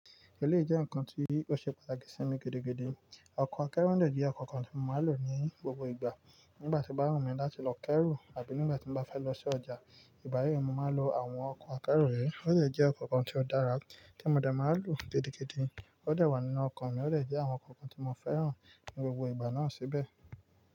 Èléyi jẹ́ ǹkan tí ó ṣe pàtàkì sí mi gidi gidi. Ọkọ̀ akẹ́rù dẹ jẹ ọkọ̀ kan tí mo máa ń lò ní gbogbo ìgbà. Nígbà tó bá wùmí láti lọ kẹ́rù àbí nígbà tí n bá fẹ́ lọ sí ọjà, ìbá yìí mó máa n lo àwọn ọkọ̀ akẹ́rù yii. Ó sì jẹ́ ọkọ̀ kan tí ó dára tí mo dẹ máa ń lò gidi gidi. Ó dẹ wà nínú ọkàn mi ó dẹ jẹ́ àwọn ọkọ̀ kan tí mo fẹ́ràn ní gbogbo ìgbà náà síbẹ̀